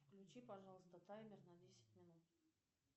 включи пожалуйста таймер на десять минут